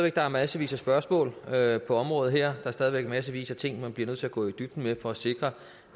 at der er massevis af spørgsmål her på området der er stadig væk massevis af ting man bliver nødt til at gå i dybden med for at sikre